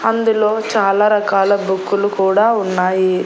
అందులో చాలా రకాల బుక్కు లు కూడా ఉన్నాయి.